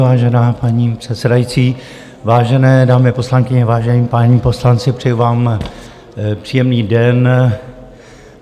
Vážená paní předsedající, vážené dámy poslankyně, vážení páni poslanci, přeji vám příjemný den.